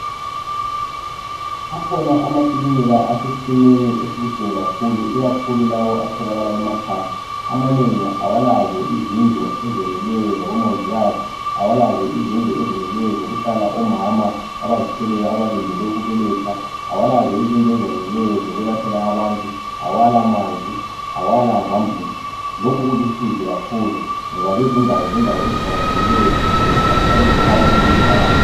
akhona amakilinika sesimweni esibuhlungu kakhulu ikakhulu lawo atholakala emakhaya amanengi awalazo izindlu ezifaneleyo zabo mongikazi awalazo izindlu ezeneleyo zokuhlala omama abazithweleyo abalindele ukubeletha abalazo izindlu ezeneleyo zokulaphela abantu abala manzi abala zambuzi lokhu kulusizi kakhulu ngoba lezindawo zindawo eziqakathekileyo eziphathelane lokupha bantu impilakhle